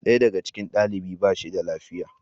Daya daga cikin daliban ba shi da lafiya.